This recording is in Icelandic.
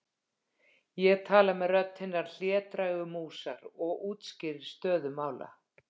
Ég tala með rödd hinnar hlédrægu músar og útskýri stöðu mála.